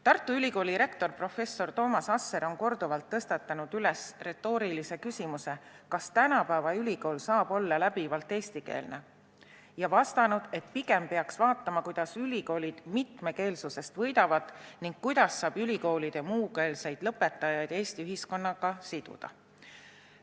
Tartu Ülikooli rektor professor Toomas Asser on korduvalt tõstatanud retoorilise küsimuse, kas tänapäeva ülikool saab olla läbivalt eestikeelne, ja vastanud, et pigem peaks vaatama, kuidas ülikoolid mitmekeelsusest võidavad ning kuidas saaks ülikoolide muukeelseid lõpetajaid Eesti ühiskonnaga siduda.